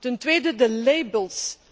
Ten tweede de labels.